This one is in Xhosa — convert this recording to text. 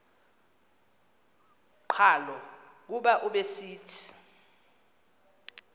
qhalo kuba ubesithi